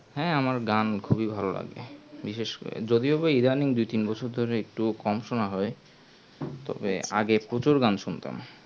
হ্যাঁ আমার গান খুবই ভালো লাগে বিশেষ করে যদিও বা either দুই তিন বছর ধরে একটু কম সোনা যাই তবে আগে প্রচুর গান শুনতাম